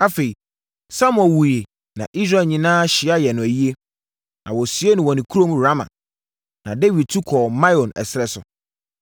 Afei, Samuel wuiɛ na Israel nyinaa hyia yɛɛ no ayie. Na wɔsiee no wɔ ne kurom Rama. Na Dawid tu kɔɔ Maon ɛserɛ so.